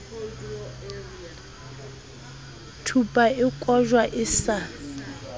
thupa e kojwa e sa